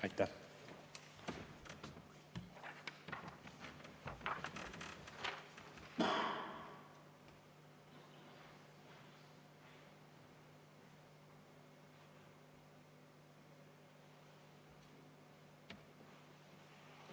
Aitäh!